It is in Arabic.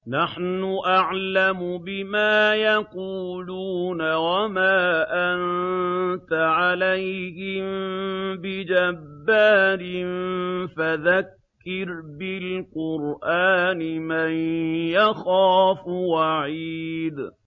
نَّحْنُ أَعْلَمُ بِمَا يَقُولُونَ ۖ وَمَا أَنتَ عَلَيْهِم بِجَبَّارٍ ۖ فَذَكِّرْ بِالْقُرْآنِ مَن يَخَافُ وَعِيدِ